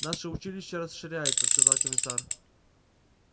наше училище расширяется сказал комиссар